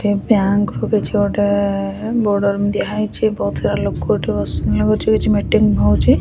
ଏ bank ରୁ କିଛି ଗୋଟେ ବୋର୍ଡର୍‌ ଦିଆହେଇଛି ବହୁତ ସାରା ଲୋକ ଏଠି ବସିଛନ୍ତି କିଛି କିଛି ମିଟିଂ ହଉଛି ।